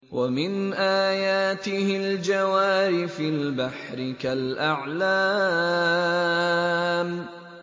وَمِنْ آيَاتِهِ الْجَوَارِ فِي الْبَحْرِ كَالْأَعْلَامِ